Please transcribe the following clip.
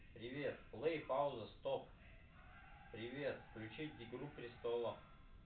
привет плей пауза стоп привет включить игру престолов